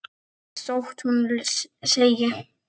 Þótt hún þegi.